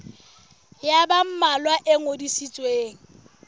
ya ba mmalwa e ngodisitsweng